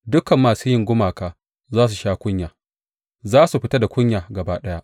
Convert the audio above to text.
Dukan masu yin gumaka za su sha kunya; za su fita da kunya gaba ɗaya.